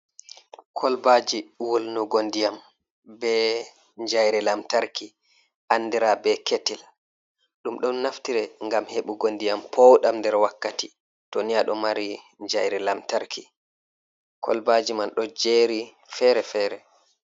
Kolbaaji wulnugo ndiyam be jayri lamtarki, anndira be ketil. Ɗum ɗon naftire, ngam heɓugo ndiyam pooɗam nder wakkati, to ni a ɗo mari jayri lantarki. Kolbaaji man, ɗo jeeri fere-fere.